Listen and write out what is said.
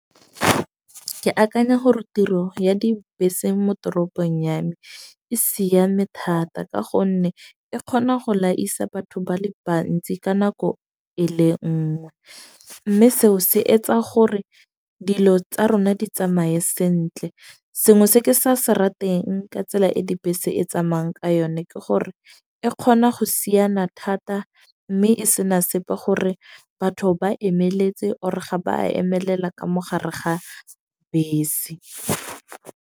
Ke akanya gore tiro ya dibese mo toropong ya me e siame thata. Ka gonne e kgona go laisa batho ba le bantsi ka nako e le nngwe. Mme seo se etsa gore dilo tsa rona di tsamaye sentle, sengwe se ke sa se rateng ka tsela e dibese e tsamayang ka yone, ke gore e kgona go siana thata. Mme e sena sepe gore batho ba emeletse or ga ba emelela ka mo gare ga bese.